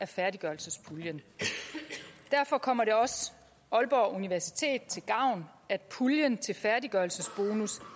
færdiggørelsespuljen derfor kommer det også aalborg universitet til gavn at puljen til færdiggørelsesbonus